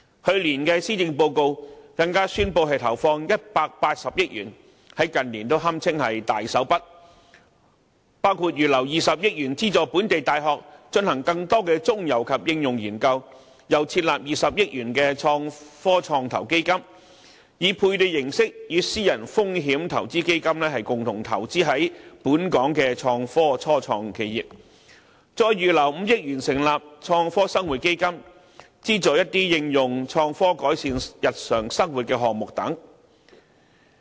去年的施政報告更宣布投放180億元推動創科發展，在近年堪稱"大手筆"，包括預留20億元資助本地大學進行更多中游及應用研究，又撥款20億元設立創科創投基金，採取配對形式，以私人投資基金共同投資在本港的創科初創企業，再預留5億元成立創科生活基金，資助一些應用創科改善日常生活的項目等。